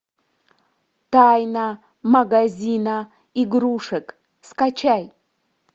тайна магазина игрушек скачай